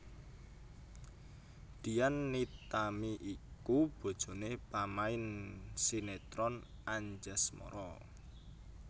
Dian Nitami iku bojoné pamain sinétron Anjasmara